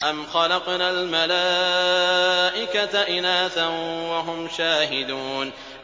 أَمْ خَلَقْنَا الْمَلَائِكَةَ إِنَاثًا وَهُمْ شَاهِدُونَ